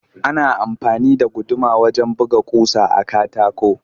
Ana amfani da guduma wajen buga ƙusa a katako